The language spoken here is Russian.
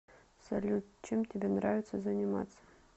салют чем тебе нравится заниматься